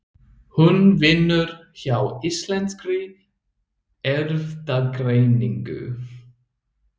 Hún vinnur hjá Íslenskri erfðagreiningu.